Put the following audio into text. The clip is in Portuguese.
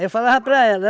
eu falava para ela.